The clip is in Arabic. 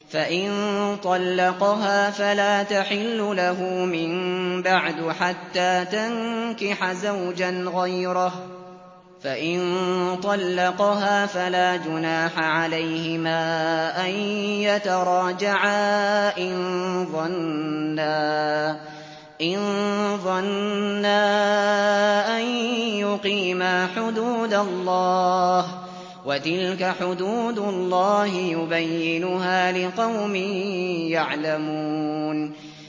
فَإِن طَلَّقَهَا فَلَا تَحِلُّ لَهُ مِن بَعْدُ حَتَّىٰ تَنكِحَ زَوْجًا غَيْرَهُ ۗ فَإِن طَلَّقَهَا فَلَا جُنَاحَ عَلَيْهِمَا أَن يَتَرَاجَعَا إِن ظَنَّا أَن يُقِيمَا حُدُودَ اللَّهِ ۗ وَتِلْكَ حُدُودُ اللَّهِ يُبَيِّنُهَا لِقَوْمٍ يَعْلَمُونَ